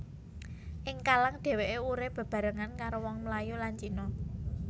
Ing Kallang deweké urip bebarengan karo wong Melayu lan Cina